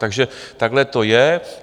Takže takhle to je.